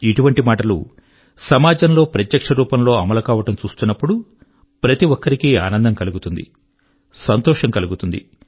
ఇటువంటి మాటలు సమాజం లో ప్రత్యక్ష రూపం లో అమలు కావడం చూస్తున్నపుడు ప్రతి ఒక్కరికీ ఆనందం కలుగుతుంది సంతోషం కలుగుతుంది